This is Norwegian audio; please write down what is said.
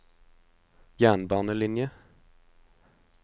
jernbanelinjen